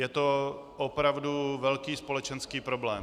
Je to opravdu velký společenský problém.